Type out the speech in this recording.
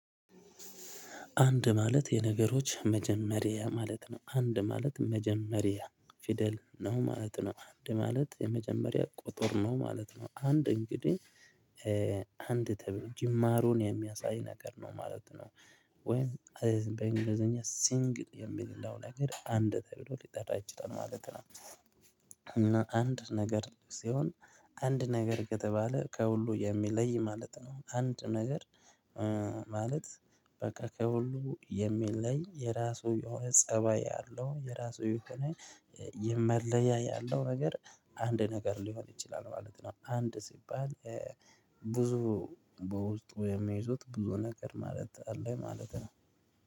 አንድ ማለት የነገሮች መጀመሪያ ማለት ነው አንድ ማለት መጀመሪያ ፊደል ነው ማለት ነው አንድ ማለት የመጀመሪያ ቁጥር ነው ማለት ነው አንድ እንግዲህ አንድ ተብሎ ጅማሮን የሚያሳይ ነገር ነው ማለት ነው። ወይም በእንግሊዘኛ ሲንግል የሚለው ነገር አንድ ተብሎ ሊጠራ ይችላል ማለት ነው። እና አንድ ነገር ሲሆን አንድ ነገር ከተባለ ከሁሉ የሚለይ ማለት ነው። አንድ ነገር ማለት በቃ ከሁሉ የሚለይ የራሱ የሆነ ፀባይ ያለው የራሱ የሆነ የመለያ ያለው ነገር። አንድ ነገር ሊሆን ይችላል ማለት ነው። አንድ ስባል ብዙ በውስጡ የሚይዙት ብዙ ነገር ማለት አለኝ ማለት ነው